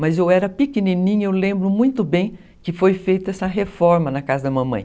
Mas eu era pequenininha, eu lembro muito bem que foi feita essa reforma na casa da mamãe.